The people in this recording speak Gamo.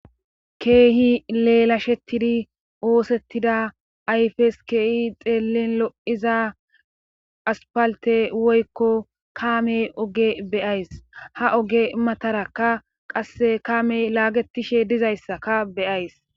keehi leelashetidi oosettida ayfes keehi xeellin lo7iza aspalte woykko kaamey oge beyays ha oge matarakka qasse kaamey laagetishe dizayssaka beyays